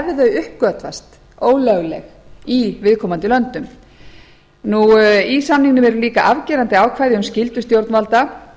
þau uppgötvast ólögleg í viðkomandi löndum í samningum eru líka afgerandi ákvæði um skyldur stjórnvalda